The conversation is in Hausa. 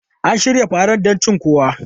An shirya farar don cin kuwa?